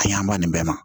Ka ɲɛ an ba nin bɛɛ ma